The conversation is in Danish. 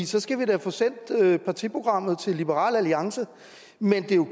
så skal vi da få sendt partiprogrammet til liberal alliance men det er jo